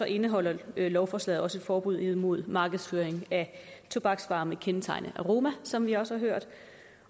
indeholder lovforslaget også et forbud mod markedsføring af tobaksvarer med kendetegnende aroma som vi også har hørt